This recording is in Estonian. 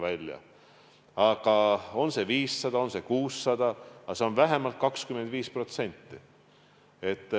Ükskõik, kas see on 500 või on see 600, aga see on vähemalt 25%.